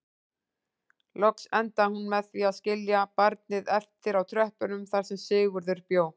Loks endaði hún með því að skilja barnið eftir á tröppunum þar sem Sigurður bjó.